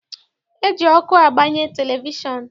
E ji ọkụ agbanye televishọn.